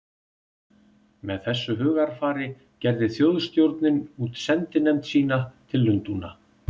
Með þessu hugarfari gerði Þjóðstjórnin út sendinefnd sína til Lundúna.